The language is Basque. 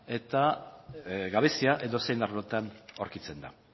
eta gabezia edozein arlotan aurkitzen da